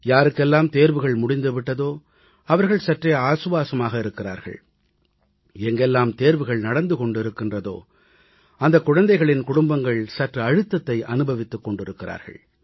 யாருக்கெல்லாம் தேர்வுகள் முடிந்து விட்டதோ அவர்கள் சற்றே ஆசுவாசமாக இருக்கிறார்கள் எங்கெல்லாம் தேர்வுகள் நடந்து கொண்டிருக்கின்றதோ அந்தக் குழந்தைகளின் குடும்பங்கள் சற்று அழுத்தத்தை அனுபவித்துக் கொண்டிருக்கிறார்கள்